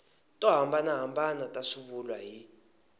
to hambanahambana ta swivulwa hi